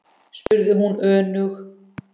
spurði hún önug.